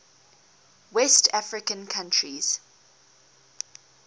west african countries